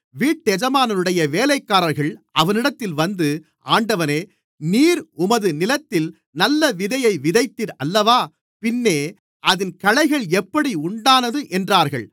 வீட்டெஜமானுடைய வேலைக்காரர்கள் அவனிடத்தில் வந்து ஆண்டவனே நீர் உமது நிலத்தில் நல்ல விதையை விதைத்தீர் அல்லவா பின்னே அதில் களைகள் எப்படி உண்டானது என்றார்கள்